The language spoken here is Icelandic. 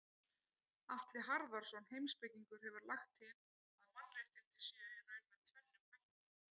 Atli Harðarson heimspekingur hefur lagt til að mannréttindi séu í raun með tvennum hætti.